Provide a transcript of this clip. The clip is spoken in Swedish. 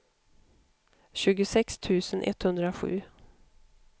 tjugosex tusen etthundrasju